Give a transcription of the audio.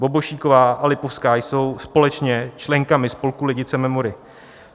Bobošíková a Lipovská jsou společně členkami spolku Lidice Memory.